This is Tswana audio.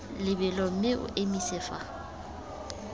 lebelo mme o emise fa